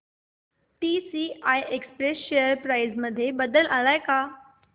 TCI express share price मध्ये बदल आलाय का